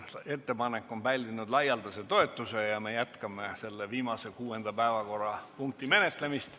Ettepanek on pälvinud laialdase toetuse ja me jätkame selle viimase ehk kuuenda päevakorrapunkti menetlemist.